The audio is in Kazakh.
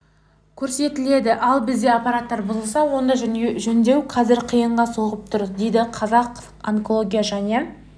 көрсетіледі ал біздегі аппараттар бұзылса оны жөндеу қазір қиынға соғып тұр дейді қазақ онкология және